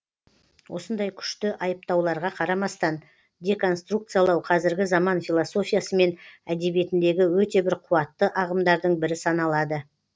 осындай күшті айыптауларға қарамастан деконструкциялау қазіргі заман философиясы мен әдебиетіндегі өте бір қуатты ағымдардың бірі саналады